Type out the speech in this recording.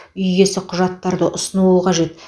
үй иесі құжаттарды ұсынуы қажет